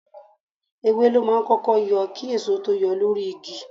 Ewé ló máa ń kọ́kọ́ yọ kí èso tó yọ lórí igi.